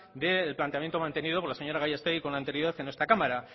del planteamiento mantenido por la señora gallastegui con anterioridad en esta cámara